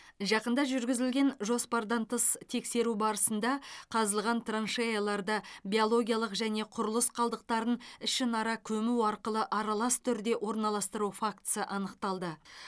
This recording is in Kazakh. жақында жүргізілген жоспардан тыс тексеру барысында қазылған траншеяларда биологиялық және құрылыс қалдықтарын ішінара көму арқылы аралас түрде орналастыру фактісі анықталды